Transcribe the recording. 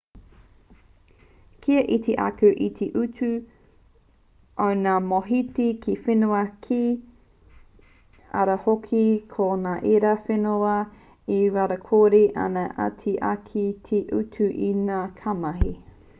ka iti ake te utu o ngā mōhiti ki whenua kē ara hoki ko ngā ērā whenua e rawakore ana ā he iti ake te utu i ngā kaimahi